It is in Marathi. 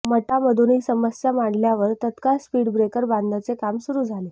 मटामधून ही समस्या मांडल्यावर तत्काळ स्पीडब्रेकर बांधण्याचे काम सुरू झाले